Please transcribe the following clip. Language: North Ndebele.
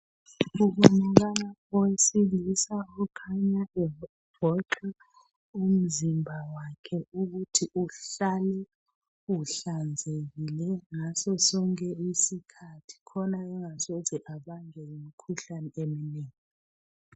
Kubonakala owesilisa okhanya evoxa umzimba wakhe ukuthi uhlale uhlanzekile ngaso sonke isikhathi khona engasoze abanjwe yimkhuhlane eminengi.